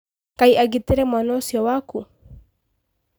Ngai agitĩre mwana ũcio waku.